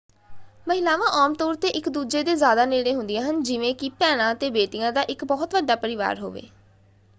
ਮਹਿਲਾਵਾਂ ਆਮ ਤੌਰ ‘ਤੇ ਇੱਕ ਦੂਜੇ ਦੇ ਜ਼ਿਆਦਾ ਨੇੜੇ ਹੁੰਦੀਆਂ ਹਨ ਜਿਵੇਂ ਕਿ ਭੈਣਾਂ ਅਤੇ ਬੇਟੀਆਂ ਦਾ ਇੱਕ ਬਹੁਤ ਵੱਡਾ ਪਰਿਵਾਰ ਹੋਵੇ।